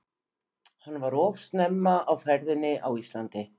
Hann var of snemma á ferðinni á Íslandi.